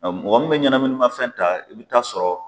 Mɔgɔ munnu bɛ ɲɛnaminimafɛn ta i bi taa sɔrɔ